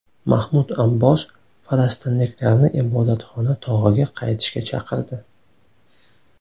Mahmud Abbos falastinliklarni Ibodatxona tog‘iga qaytishga chaqirdi.